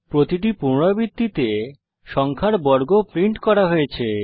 প্রতিটি পুনরাবৃত্তিতে সংখ্যার বর্গ প্রিন্ট করা হয়েছে